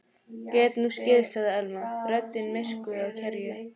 Gat nú skeð sagði Elma, röddin myrkvuð af kergju.